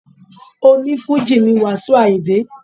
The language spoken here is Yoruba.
Oní Fújì ni Wasiu Ayinde.